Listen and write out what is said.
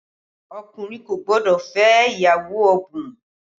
Ọkùnrin kò gbọ́dọ̀ fẹ́ ìyàwó ọ̀bùn